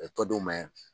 tɔ d'u ma